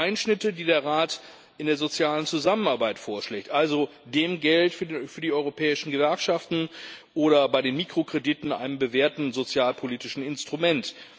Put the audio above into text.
Es gibt Einschnitte, die der Rat in der sozialen Zusammenarbeit vorschlägt, also dem Geld für die europäischen Gewerkschaften, oder bei den Mikrokrediten, einem bewährten sozialpolitischen Instrument.